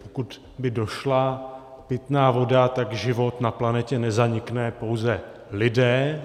Pokud by došla pitná voda, tak život na planetě nezanikne, pouze lidé.